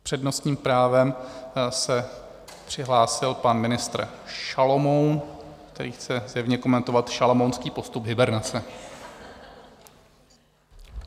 S přednostním právem se přihlásil pan ministr Šalomoun, který chce zřejmě komentovat šalamounský postup hibernace.